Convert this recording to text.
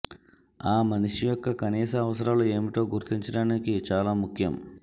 ఆ మనిషి యొక్క కనీస అవసరాలు ఏమిటో గుర్తించడానికి చాలా ముఖ్యం